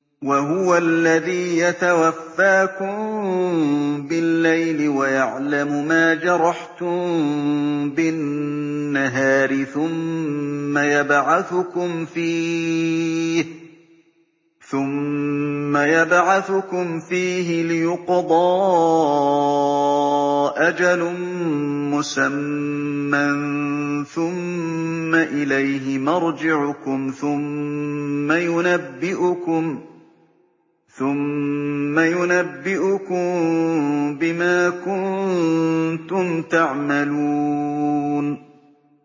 وَهُوَ الَّذِي يَتَوَفَّاكُم بِاللَّيْلِ وَيَعْلَمُ مَا جَرَحْتُم بِالنَّهَارِ ثُمَّ يَبْعَثُكُمْ فِيهِ لِيُقْضَىٰ أَجَلٌ مُّسَمًّى ۖ ثُمَّ إِلَيْهِ مَرْجِعُكُمْ ثُمَّ يُنَبِّئُكُم بِمَا كُنتُمْ تَعْمَلُونَ